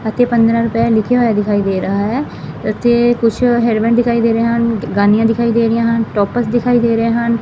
ਅਤੇ ਪੰਦਰ੍ਹਾਂ ਰੁਪਏ ਲਿੱਖਿਆ ਹੋਇਆ ਦਿਖਾਈ ਦੇ ਰਹਾ ਹੈ ਇੱਥੇ ਕੁਛ ਹੇਅਰ ਬੈਂਡ ਦਿਖਾਈ ਦੇ ਰਹੇ ਹਨ ਗਾਨੀਆਂ ਦਿਖਾਈ ਦੇ ਰਹੀਆ ਹਨ ਟੋਪਸ ਦਿਖਾਈ ਦੇ ਰਹੇ ਹਨ।